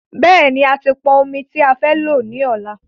Bẹ́ẹ̀ni,a ti pọn ọmi tí a fẹ́ lò ní ọ̀la